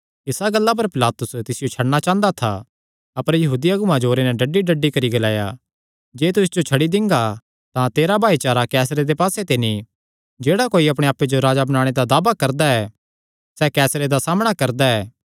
इसा गल्ला पर पिलातुस तिसियो छड्डणा चांह़दा था अपर यहूदी अगुआं जोरे नैं डड्डीडड्डी करी ग्लाया जे तू इस जो छड्डी दिंगा तां तेरा भाईचारा कैसरे दे पास्से ते नीं जेह्ड़ा कोई अपणे आप्पे जो राजा बणाणे दा दावा करदा ऐ सैह़ कैसरे दा सामणा करदा ऐ